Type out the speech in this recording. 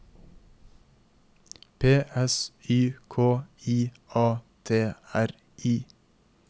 P S Y K I A T R I